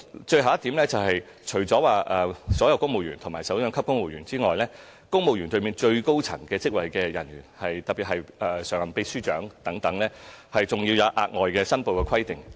最後，除所有首長級公務員外，對於公務員隊伍最高職位的人員，特別是常任秘書長等，我們更設有額外申報規定。